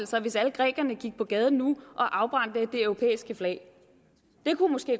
sig hvis alle grækerne gik på gaden nu og afbrændte det europæiske flag det kunne måske